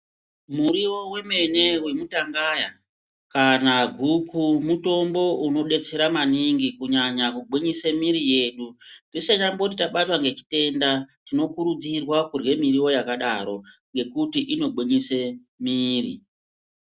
Muriwo wemene wemutangaya kana guku mutombo unodetsera maningi kunyanya kugwinyise miri yedu. Tisinyambori tabatwa ngechitenda tinokurudzirwa kurya miriwo yakadaro ngekuti inogwinyise miri.